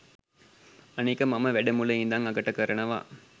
අනික මම වැඩ මුල ඉඳන් අගට කරනවා